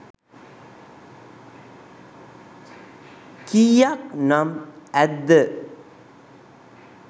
කීයක් නම් ඇද්ද?